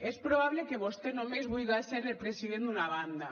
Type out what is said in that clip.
és probable que vostè només vulga ser el president d’una banda